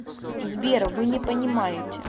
сбер вы не понимаете